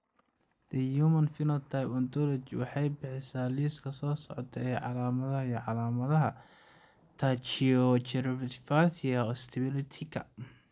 The Human Phenotype Ontology waxay bixisaa liiska soo socda ee calaamadaha iyo calaamadaha Tracheobronchopathia osteoplastica.